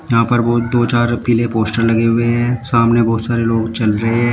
यहां पर बहोत दो चार औ पिले पोस्टर लगे हुए हैं सामने बहोत सारे लोग चल रहे हैं।